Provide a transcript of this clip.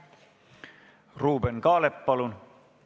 Ruuben Kaalep, palun!